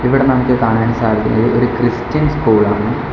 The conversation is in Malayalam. ഇവിടെ നമുക്ക് കാണാൻ സാധിക്കുന്നത് ഒരു ക്രിസ്ത്യൻ സ്കൂളാണ് .